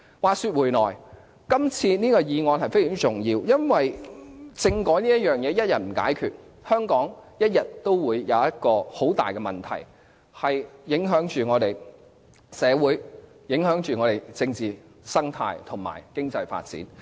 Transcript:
話說回來，今次這項議案非常重要，因為政改問題一日未解決，香港始終會出現很大的問題，影響我們的社會、政治生態和經濟發展。